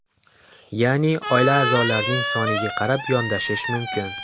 Ya’ni oila a’zolarining soniga qarab yondashish mumkin.